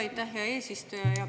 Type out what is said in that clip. Aitäh, hea eesistuja!